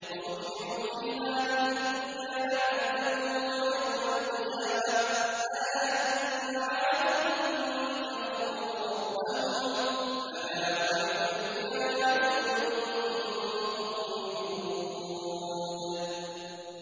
وَأُتْبِعُوا فِي هَٰذِهِ الدُّنْيَا لَعْنَةً وَيَوْمَ الْقِيَامَةِ ۗ أَلَا إِنَّ عَادًا كَفَرُوا رَبَّهُمْ ۗ أَلَا بُعْدًا لِّعَادٍ قَوْمِ هُودٍ